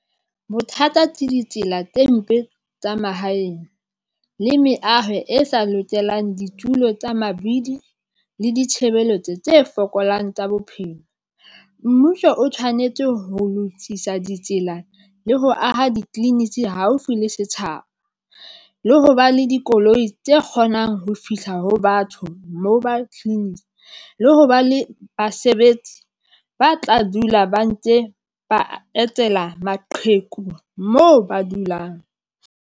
Bothata ke ditsela tse mpe tsa mahaeng le meaho e sa lokelang ditulo tsa mabidi le ditshebeletso tse fokolang tsa bophelo. Mmuso o tshwanetse ho lokisa ditsela le ho aha di clinic haufi le setjhaba le ho ba le dikoloi tse kgonang ho fihla ho batho Mobile Clinic le ho ba le basebetsi ba tla dula ba etela maqheku moo ba dulang.